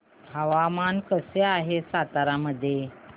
हवामान कसे आहे सातारा मध्ये